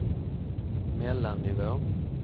mellannivå